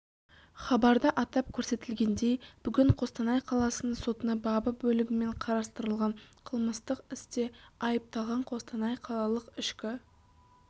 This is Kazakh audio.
хабарда атап көрсетілгендей бүгін қостанай қаласының сотына бабы бөлігімен қарастырылған қылмыстық істе айыпталған қостанай қалалық ішкі